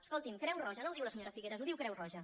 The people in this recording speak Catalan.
escolti’m creu roja no ho diu la senyora figueras ho diu creu roja